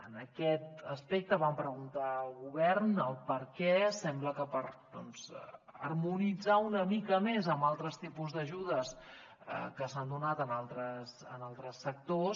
en aquest aspecte vam preguntar al govern el perquè sembla que per doncs harmonitzar una mica més amb altres tipus d’ajudes que s’han donat en altres sectors